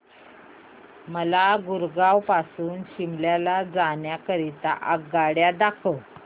मला गुरगाव पासून शिमला जाण्या करीता आगगाड्या दाखवा